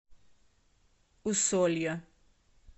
усолья